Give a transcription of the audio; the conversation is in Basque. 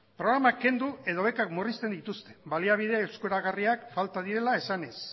programak kendu edo bekak murrizten dituzte baliabide eskuragarriak falta direla esanez